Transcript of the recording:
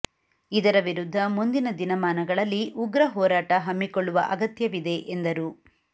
ಇದರ ವಿರುಧ್ಧ ಮುಂದಿನ ದಿನಮಾನಗಳಲ್ಲಿ ಉಗ್ರ ಹೋರಾಟ ಹಮ್ಮಿಕೊಳ್ಳುವ ಅಗತ್ಯವಿದೆ ಎಂದರು